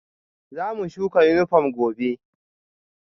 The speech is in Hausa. Zamu shuka yunifom gobe